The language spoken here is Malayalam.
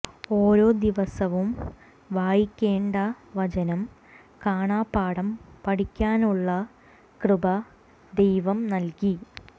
ഓരോ ദിവസവും വായിക്കേണ്ട വചനം കാണാപാഠം പഠിക്കാനുള്ള കൃപ ദൈവം നൽകി